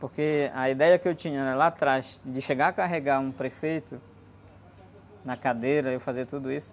Porque a ideia que eu tinha lá atrás, de chegar a carregar um prefeito na cadeira, eu fazer tudo isso,